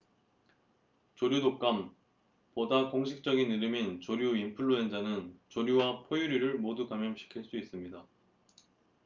조류 독감 보다 공식적인 이름인 조류 인플루엔자는 조류와 포유류를 모두 감염시킬 수 있습니다